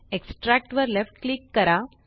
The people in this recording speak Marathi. एक्स्ट्रॅक्ट वर लेफ्ट क्लिक करा